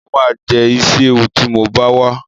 Mo ma jẹ́ Ísíéwu tí mo bá wá